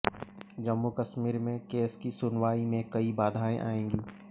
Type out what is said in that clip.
जम्मू कश्मीर में केस की सुनवाई में कई बाधाएं आएंगी